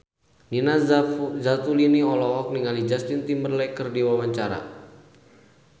Nina Zatulini olohok ningali Justin Timberlake keur diwawancara